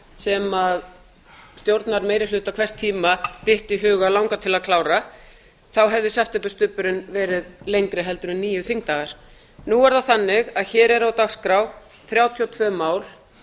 sem stjórnarmeirihluta hvers tíma dytti í hug að langa til að klára þá hefði septemberstubburinn verið lengri en níu þingdagar en er það þannig að hér eru á dagskrá þrjátíu og tvö mál